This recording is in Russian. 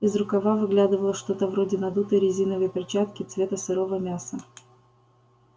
из рукава выглядывало что-то вроде надутой резиновой перчатки цвета сырого мяса